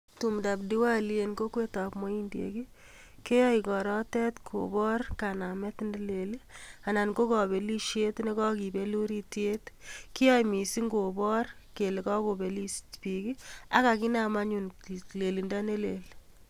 Tumdab Diwali en kokwetab muhindiek, keyoe igorotet kobor kanamet ne lel anan ko kobelishet ne kogibel urityet. Kiyoe mising kobor kele kogobelis biik ak kaginame anyum keik lelindo ne lel.